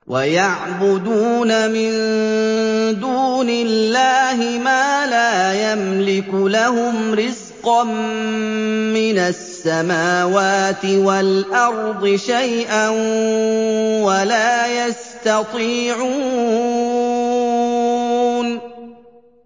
وَيَعْبُدُونَ مِن دُونِ اللَّهِ مَا لَا يَمْلِكُ لَهُمْ رِزْقًا مِّنَ السَّمَاوَاتِ وَالْأَرْضِ شَيْئًا وَلَا يَسْتَطِيعُونَ